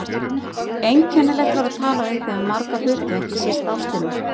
Einkennilegt var að tala við þig um marga hluti, ekki síst ástina.